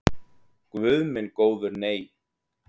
Guð minn góður nei.